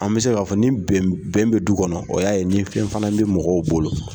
An bɛ se k'a fɔ ni bɛn bɛn bɛ du kɔnɔ o y'a ye ni fɛn fana bi mɔgɔw bolo